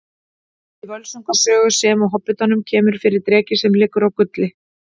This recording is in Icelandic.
Í Völsunga sögu sem og Hobbitanum kemur fyrir dreki sem liggur á gulli.